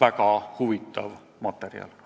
väga huvitav materjal.